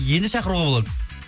енді шақыруға болады